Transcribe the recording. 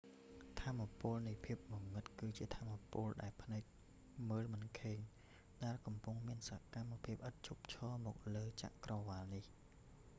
ថាមពលនៃភាពងងឹតគឺជាថាមពលដែលភ្នែកមើលមិនឃើញ ដែលកំពុងមានសកម្មភាពឥតឈប់ឈរមកលើចក្រវាឡនេះ